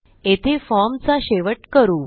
येथे फॉर्मचा शेवट करू